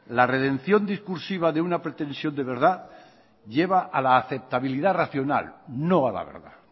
la redención discursiva de una pretensión de verdad lleva a la aceptabilidad racional no a la verdad